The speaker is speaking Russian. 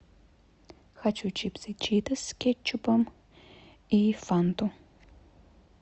хочу чипсы читос с кетчупом и фанту